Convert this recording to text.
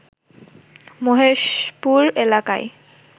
মহেশপুর এলাকার